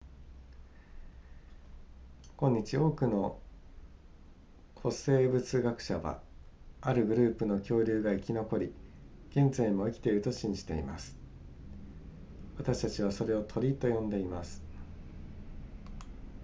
今日多くの古生物学者はあるグループの恐竜が生き残り現在も生きていると信じています私たちはそれを鳥と呼んでいます